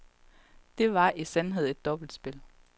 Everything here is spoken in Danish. Det var i sandhed et dobbeltspil.